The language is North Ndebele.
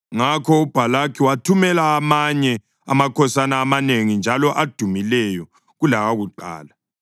Ngakho uBhalaki wathumela amanye amakhosana amanengi njalo adumileyo kulawakuqala.